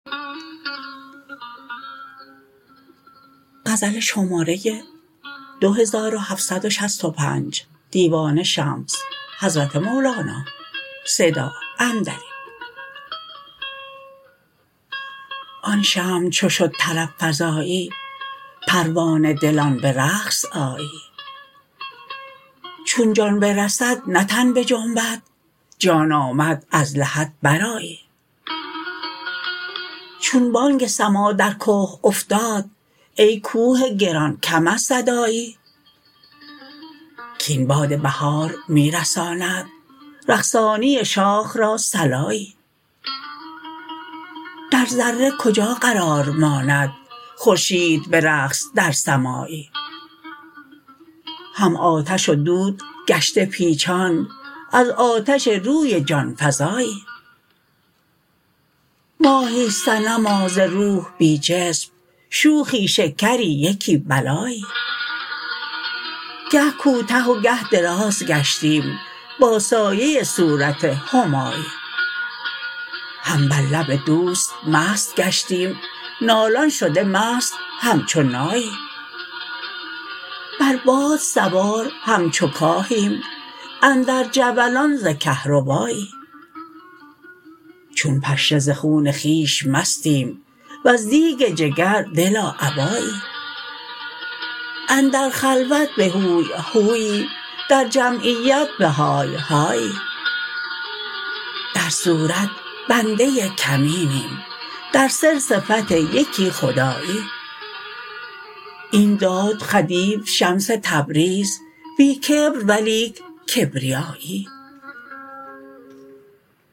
آن شمع چو شد طرب فزایی پروانه دلان به رقص آیی چون جان برسد نه تن بجنبد جان آمد از لحد برآیی چون بانگ سماع در که افتاد ای کوه گران کم از صدایی کاین باد بهار می رساند رقصانی شاخ را صلایی در ذره کجا قرار ماند خورشید به رقص در سمایی هم آتش و دود گشته پیچان از آتش روی جان فزایی ماهی صنما ز روح بی جسم شوخی شکری یکی بلایی گه کوته و گه دراز گشتیم با سایه صورت همایی هم بر لب دوست مست گشتیم نالان شده مست همچو نایی بر باد سوار همچو کاهیم اندر جولان ز کهربایی چون پشه ز خون خویش مستیم وز دیگ جگر دلا ابایی اندر خلوت به هوی هویی در جمعیت به های هایی در صورت بنده کمینیم در سر صفت یکی خدایی این داد خدیو شمس تبریز بی کبر ولیک کبریایی